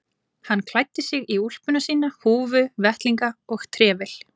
Hann klæddi sig í úlpuna sína, húfu, vettlinga og trefil.